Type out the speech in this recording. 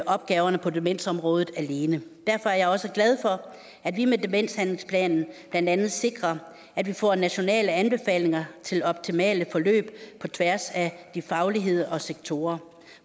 opgaverne på demensområdet alene derfor er jeg også glad for at vi med demenshandlingsplanen blandt andet sikrer at vi får nationale anbefalinger til optimale forløb på tværs af faglighed og sektorer